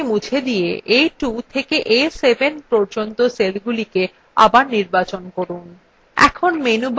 এই নম্বরগুলি মুছে দিয়ে a2 থেকে a7 পর্যন্ত cellsগুলি আবার নির্বাচন করুন